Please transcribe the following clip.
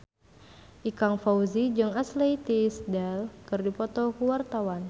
Ikang Fawzi jeung Ashley Tisdale keur dipoto ku wartawan